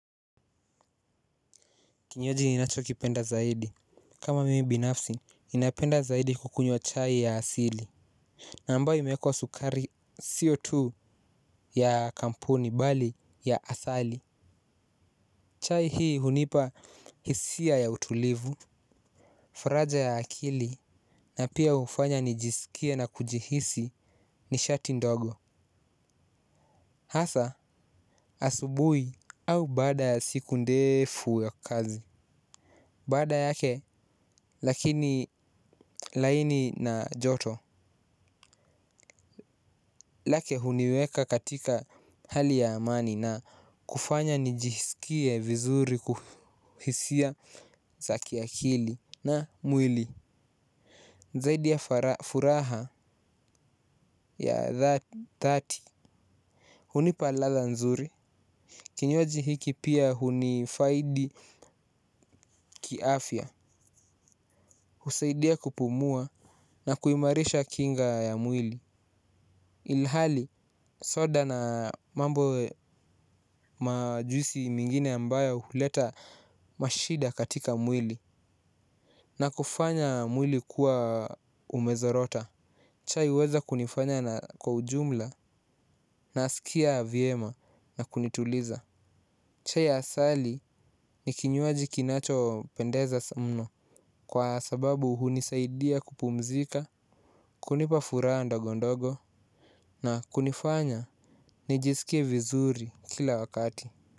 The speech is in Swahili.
Kinywaji ninachokipenda zaidi kama mimi binafsi ninapenda zaidi kukunywa chai ya asili. Na mbayo imewekwa sukari sio tu ya kampuni bali ya asali. Chai hii hunipa hisia ya utulivu. Faraja ya akili na pia hufanya nijisikie na kujihisi nishati ndogo. Hasaa asubuhi au baada ya siku ndefu ya kazi baada yake lakini laini na joto lake huniweka katika hali ya amani na kufanya nijisikie vizuri kuhisia za kiakili na mwili. Zaidi ya furaha ya dhati hunipa ladha nzuri. Kinywaji hiki pia hunifaidi kiafya. Husaidia kupumua na kuimarisha kinga ya mwili. Ilhali soda na mambo majuisi mingine ambayo huleta mashida katika mwili na kufanya mwili kuwa umezorota chai huweza kunifanya na kwa ujumla nasikia vyema na kunituliza. Chai asali ni kinywaji kinachopendeza mno kwa sababu hunisaidia kupumzika, kunipa furaha ndogo ndogo na kunifanya nijisikie vizuri kila wakati.